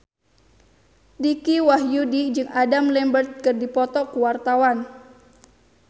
Dicky Wahyudi jeung Adam Lambert keur dipoto ku wartawan